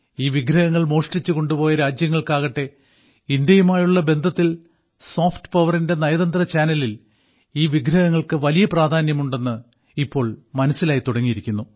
ഈ വിഗ്രഹങ്ങൾ മോഷ്ടിച്ച് കൊണ്ടുപോയ രാജ്യങ്ങൾക്കാകട്ടെ ഇന്ത്യയുമായുള്ള ബന്ധത്തിൽ സോഫ്റ്റ് പവറിന്റെ നയതന്ത്ര ചാനലിൽ ഈ വിഗ്രഹങ്ങൾക്ക് വലിയ പ്രാധാന്യമുണ്ടെന്ന് ഇപ്പോൾ മനസ്സിലായി തുടങ്ങിയിരിക്കുന്നു